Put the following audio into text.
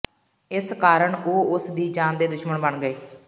ਇਸ ਕਾਰਨ ਉਹ ਉਸ ਦੀ ਜਾਨ ਦੇ ਦੁਸ਼ਮਣ ਬਣ ਗਏ